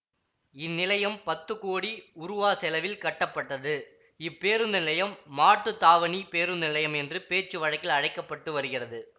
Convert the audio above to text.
இந்நிலையம் பத்து கோடி உருவா செலவில் கட்டப்பட்டது இப்பேருந்து நிலையம் மாட்டுத்தாவணி பேருந்து நிலையம் என்று பேச்சு வழக்கில் அழைக்க பட்டு வருகிறது